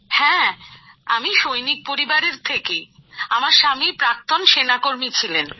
হ্যা আমি সৈনিক পরিবারের থেকেই আমার স্বামী প্রাক্তন সেনাকর্মী ছিলেন